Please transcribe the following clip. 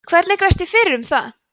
hvernig grefst ég fyrir um það